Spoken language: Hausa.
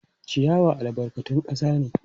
Ciyawa albarkatun kasa ne.